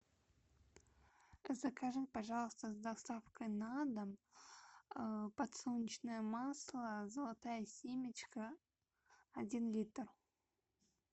закажи пожалуйста с доставкой на дом подсолнечное масло золотая семечка один литр